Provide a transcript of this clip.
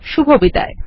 শুভবিদায়